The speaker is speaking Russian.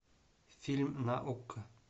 фильм на окко